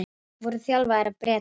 Voru þjálfaðir af Bretum